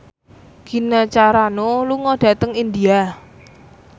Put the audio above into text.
Gina Carano lunga dhateng India